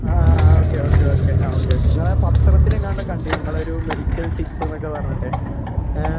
ആ ആ okay okay okay ആ ഓക്കേ ഓക്കേ ഇങ്ങളാ പത്രത്തിലെങ്ങാണ്ടോ കണ്ടീന്നു ഇങ്ങളൊരു മെഡിക്കൽ ടിപ്പ്ന്നൊക്കെ പറഞ്ഞിട്ടെ ഏ.